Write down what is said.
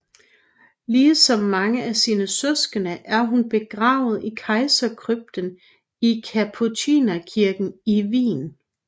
Ligesom mange af sine søskende er hun begravet i Kejserkrypten i Kapucinerkirken i Wien